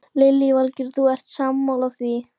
Lillý Valgerður: Þú ert sammála því?